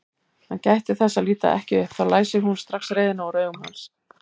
Hann gætti þess að líta ekki upp, þá læsi hún strax reiðina úr augum hans.